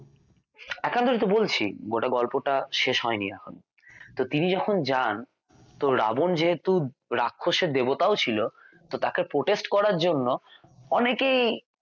একান্তরিত বলছি গোটা গল্পটা শেষ হয়নি এখনও তো তিনি যখন যান তো রাবন যেহেতু রাক্ষসের দেবতাও ছিল তো তাকে protest করার জন্য অনেকেই